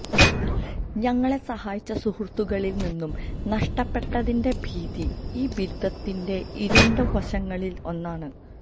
ഞങ്ങളെ സഹായിച്ച സുഹൃത്തുക്കളിൽ നിന്നും നഷ്ടപ്പെട്ടതിന്റെ ഭീതി ഈ ബിരുദത്തിൻറെ ഇരുണ്ട വശങ്ങളിൽ ഒന്നാണ്